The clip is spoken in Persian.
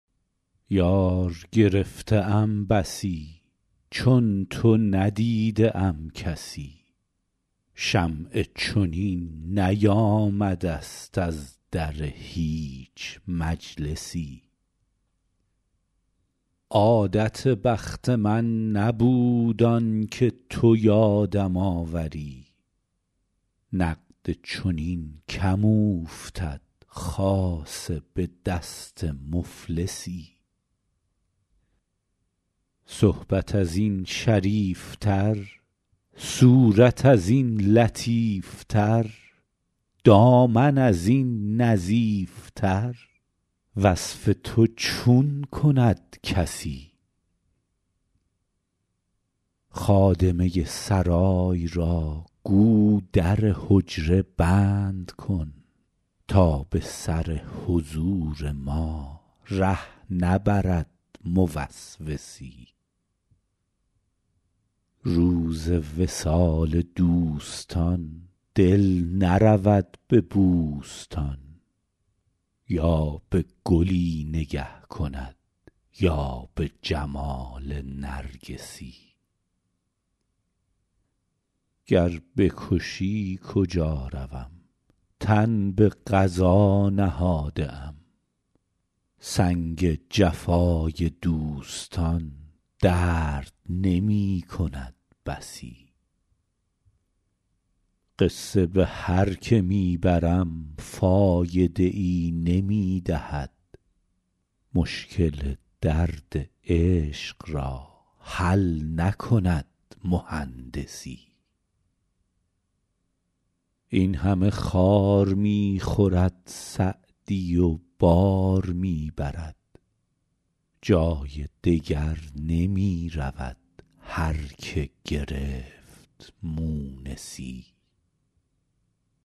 یار گرفته ام بسی چون تو ندیده ام کسی شمعی چنین نیامده ست از در هیچ مجلسی عادت بخت من نبود آن که تو یادم آوری نقد چنین کم اوفتد خاصه به دست مفلسی صحبت از این شریف تر صورت از این لطیف تر دامن از این نظیف تر وصف تو چون کند کسی خادمه سرای را گو در حجره بند کن تا به سر حضور ما ره نبرد موسوسی روز وصال دوستان دل نرود به بوستان یا به گلی نگه کند یا به جمال نرگسی گر بکشی کجا روم تن به قضا نهاده ام سنگ جفای دوستان درد نمی کند بسی قصه به هر که می برم فایده ای نمی دهد مشکل درد عشق را حل نکند مهندسی این همه خار می خورد سعدی و بار می برد جای دگر نمی رود هر که گرفت مونسی